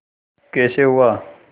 कैसे हुआ